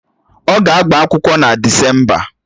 Ọ ga-agba akwụkwọ na Desemba?